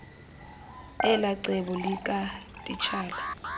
elaa cebo likatitshala